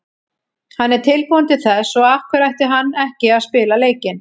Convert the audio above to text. Hann er tilbúinn til þess, svo af hverju ætti hann ekki að spila leikinn?